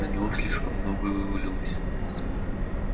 на него слишком многое вывалилось